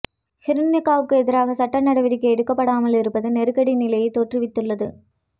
ஹிருனிகாவுக்கு எதிராக சட்ட நடவடிக்கை எடுக்கப்படாமல் இருப்பது நெருக்கடி நிலையை தோற்றிவித்துள்ளது